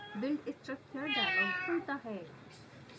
build structure dialog खुलता है